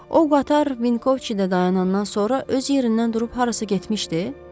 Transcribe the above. O qatar Vinkovçidə dayanandan sonra öz yerindən durub harasa getmişdi?